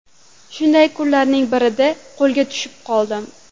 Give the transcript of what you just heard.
Shunday kunlarning birida qo‘lga tushib qoldim.